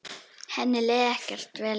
Henni leið ekkert vel hérna.